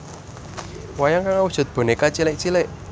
Wayang kang awujud bonèka cilik cilik